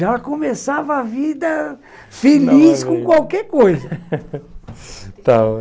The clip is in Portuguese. Já começava a vida feliz com qualquer coisa.